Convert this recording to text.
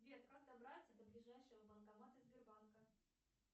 сбер как добраться до ближайшего банкомата сбербанка